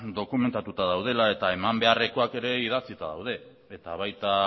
dokumentatuta daudela eta eman beharrekoak ere idatzita daude eta baita